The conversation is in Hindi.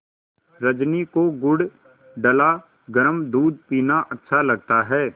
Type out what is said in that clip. रजनी को गुड़ डला गरम दूध पीना अच्छा लगता है